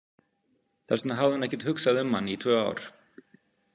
Þess vegna hafði hún ekkert hugsað um hann í tvö ár.